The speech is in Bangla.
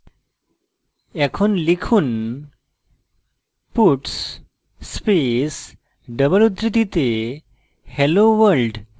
এখন লিখুন puts space double উদ্ধৃতিতে hello world